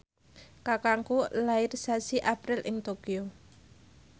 kakangku lair sasi April ing Tokyo